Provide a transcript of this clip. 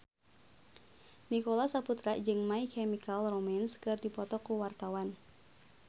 Nicholas Saputra jeung My Chemical Romance keur dipoto ku wartawan